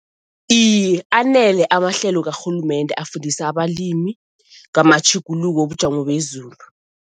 Iye, anele amahlelo karhulumende afundisa abalimi ngamatjhuguluko wobujamo bezulu.